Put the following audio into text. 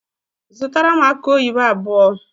Zụtara m akụ oyibo abụọ!!